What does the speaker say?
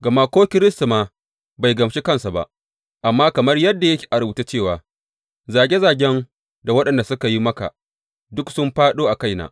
Gama ko Kiristi ma bai gamshi kansa ba, amma kamar yadda yake a rubuce cewa, Zage zagen da waɗansu suka yi maka, duk sun fāɗo a kaina.